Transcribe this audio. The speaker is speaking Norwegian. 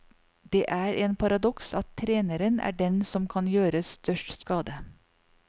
Det er en paradoks at treneren er den som kan gjøre størst skade.